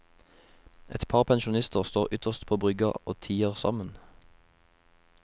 Et par pensjonister står ytterst på brygga og tier sammen.